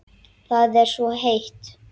Það var svo heitt.